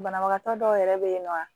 Banabagatɔ dɔw yɛrɛ bɛ yen nɔ